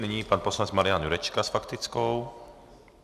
Nyní pan poslanec Marian Jurečka s faktickou.